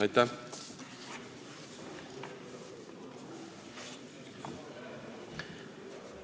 Aitäh!